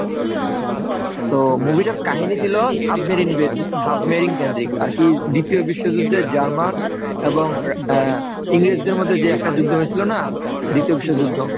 তো movie টার কাহিনী ছিল সাবমেরিন সাবমেরিন কেন্দ্রিক আর কি দ্বিতীয় বিশ্বযুদ্ধের জার্মান এবং আহ ইংরেজদের মধ্যে যে একটা যুদ্ধ হয়েছিল না? দ্বিতীয় বিশ্বযুদ্ধ?